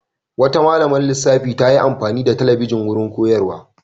Wata malamar lissafi ta yi amfani da talabijin wurin koyarwa.